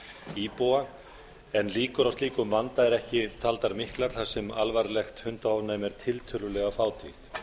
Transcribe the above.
íbúa en líkur á slíkum vanda eru ekki taldar miklar þar sem alvarlegt hundaofnæmi er tiltölulega fátítt með